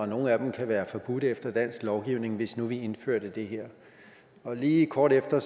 nogle af dem kan være forbudt efter dansk lovgivning hvis nu vi indførte det her og lige kort efter